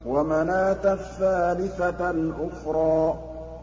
وَمَنَاةَ الثَّالِثَةَ الْأُخْرَىٰ